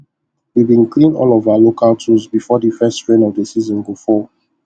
we been clean all of our local tools before the first rain of the season go fall